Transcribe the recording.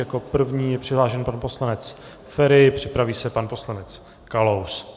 Jako první je přihlášený pan poslanec Feri, připraví se pan poslanec Kalous.